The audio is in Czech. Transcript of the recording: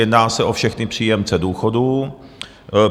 Jedná se o všechny příjemce důchodů.